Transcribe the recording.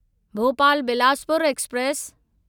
Bhopal Bilaspur express